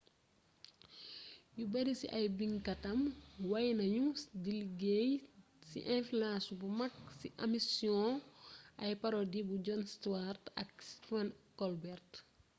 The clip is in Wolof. yu bari ci ay binkatam wey nañu di liggéey ci influence bu mag ci amisiyoŋu ay parodi bu jon stewart ak stephen colbert